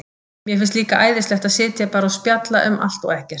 Mér finnst líka æðislegt að sitja bara og spjalla um allt og ekkert.